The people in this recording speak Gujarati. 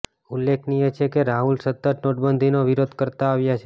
ઉલ્લેખનીય છે કે રાહુલ સતત નોટબંધીનો વિરોધ કરતા આવ્યા છે